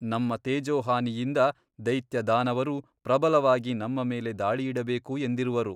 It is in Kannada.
ನಮ್ಮ ತೇಜೋಹಾನಿಯಿಂದ ದೈತ್ಯದಾನವರು ಪ್ರಬಲವಾಗಿ ನಮ್ಮ ಮೇಲೆ ದಾಳಿಯಿಡಬೇಕು ಎಂದಿರುವರು.